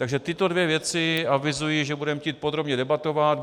Takže tyto dvě věci avizuji, že budeme chtít podrobně debatovat.